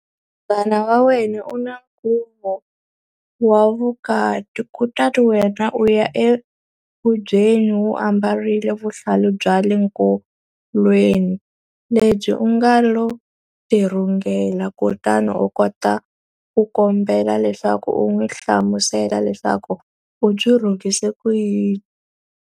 Munghana wa wena u na nkhuvo wa vukati, kutani wena u ya enkhubyeni u ambarile vuhlalu bya le nkolweni lebyi u nga lo tirhungela. Kutani a ku kombela leswaku u n'wi hlamusela leswaku u byi rhungise ku yini.